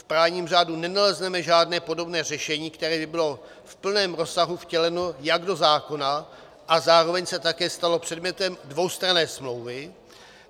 V právním řádu nenalezneme žádné podobné řešení, které by bylo v plném rozsahu vtěleno jak do zákona a zároveň se také stalo předmětem dvoustranné smlouvy.